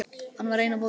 Hann var einn á báti.